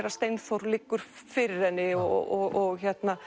að Steinþór liggur fyrir henni og